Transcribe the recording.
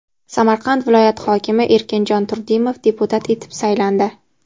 Samarqand viloyati hokimi Erkinjon Turdimov deputat etib saylandi.